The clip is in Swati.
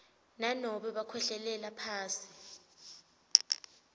nanobe bakhwehlelela phasi